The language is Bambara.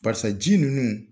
Barisa ji nunnu